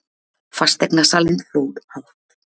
Fasteignasalinn hló hátt.